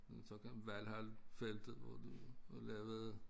Men så kom Valhallfeltet hvor du lavede